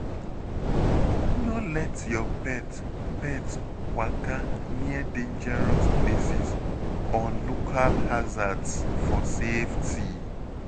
No let your pet pet waka near dangerous places or local hazards for safety.